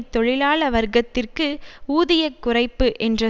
தொழிலாள வர்க்கத்திற்கு ஊதிய குறைப்பு என்ற